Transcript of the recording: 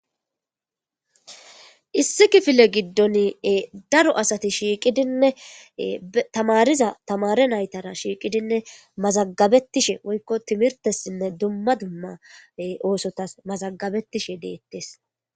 Issi kifile giddon daro asati shiiqidinne tamariza tamare naytara shiiqidinne mazagabettishe woykko timirtessinne dumma dumma oosotas mazagabettishe deettes.